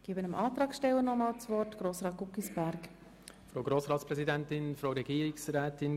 Ich erteile dem Antragsteller Grossrat Guggisberg nochmals das Wort.